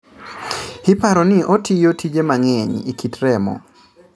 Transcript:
Iparo ni otiyo tije mang'eny e kit remo